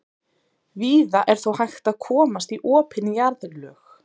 Víða er þó hægt að komast í opin jarðlög.